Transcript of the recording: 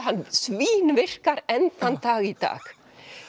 svínvirkar enn þann dag í dag